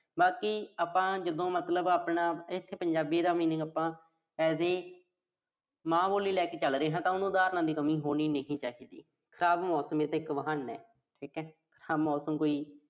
ਬਾਕੀ ਆਪਾਂ ਜਦੋਂ ਮਤਲਬ ਆਪਾਂ ਇਥੇ ਪੰਜਾਬੀ ਦਾ meaning ਆਪਾਂ as a ਮਾਂ ਬੋਲੀ ਲੈ ਕੇ ਚੱਲ ਰਹੇ ਆਂ ਤਾਂ ਉਹਨੂੰ ਉਦਾਹਰਨਾਂ ਦੀ ਕਮੀ ਹੋਣੀ ਨਹੀਂ ਚਾਹੀਦੀ। ਖਰਾਬ ਮੌਸਮ ਤਾਂ ਇੱਕ ਬਹਾਨਾ। ਠੀਕਾ। ਹਾਂ ਮੌਸਮ ਕੋਈ